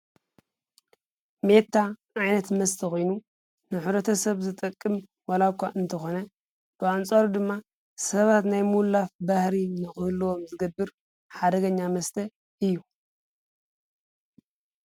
ሜታ ዓይነት መስተ ኮይኑ ንሕብረተሰብ ዝጠቅም ወላ እኳ እንተኾነ ብኣንፃሩ ድማ ሰባት ናይ ምዉላፍ ባህሪ ንኽህልዎም ዝገብር ሓደገኛ መስተ እዩ::